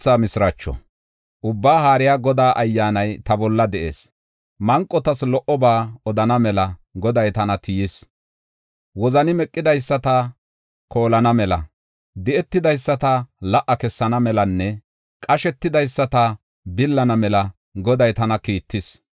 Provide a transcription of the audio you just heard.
Ubbaa Haariya Godaa Ayyaanay ta bolla de7ees; manqotas lo77oba odana mela Goday tana tiyis. Wozani meqidaysata koolana mela, di7etidaysata la77a kessana melanne qashetidaysata billana mela Goday tana kiittis.